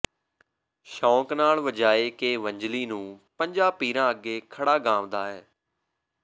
ਸ਼ੌਕ ਨਾਲ ਵਜਾਇ ਕੇ ਵੰਝਲੀ ਨੂੰ ਪੰਜਾਂ ਪੀਰਾਂ ਅੱਗੇ ਖੜ੍ਹਾ ਗਾਂਵਦਾ ਏ